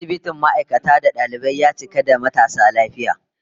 Asibitin ma'aikata da dalibai, ya cika da matasa lafiya